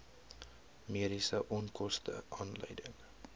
mediese onkoste aanleiding